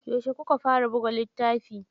Yauce kuka fara buga littafi?